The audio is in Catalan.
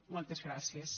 moltes gràcies